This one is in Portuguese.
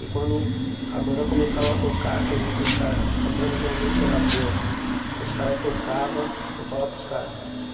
E quando a banda começava a tocar, que eu vi que os caras, a banda realmente era boa, que os caras tocava, eu falava para os caras.